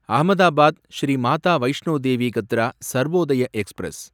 Ahmedabad Shri Mata Vaishno Devi Katra Sarvodaya express